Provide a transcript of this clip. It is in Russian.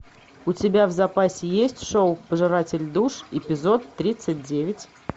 у тебя в запасе есть шоу пожиратель душ эпизод тридцать девять